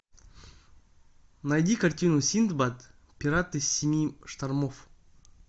найди картину синдбад пираты семи штормов